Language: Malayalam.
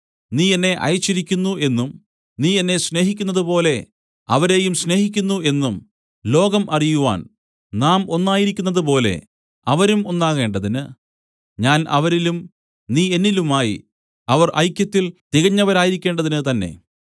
നീ എന്നെ അയച്ചിരിക്കുന്നു എന്നും നീ എന്നെ സ്നേഹിക്കുന്നതുപോലെ അവരെയും സ്നേഹിക്കുന്നു എന്നും ലോകം അറിയുവാൻ നാം ഒന്നായിരിക്കുന്നതുപോലെ അവരും ഒന്നാകേണ്ടതിന് ഞാൻ അവരിലും നീ എന്നിലുമായി അവർ ഐക്യത്തിൽ തികഞ്ഞവരായിരിക്കേണ്ടതിന് തന്നെ